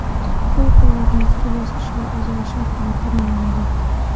Bu quvvatni ikki bosqichga ajratish orqali ta’minlanadi.